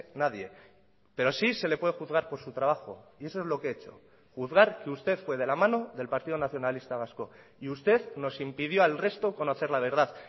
nadie pero sí se le puede juzgar por su trabajo y eso es lo que he hecho juzgar que usted fue de la mano del partido nacionalista vasco y usted nos impidió al resto conocer la verdad